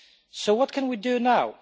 So what can we do now?